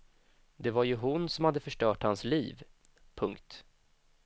Det var ju hon som hade förstört hans liv. punkt